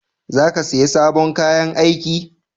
Za ka siya sabon kayan aiki?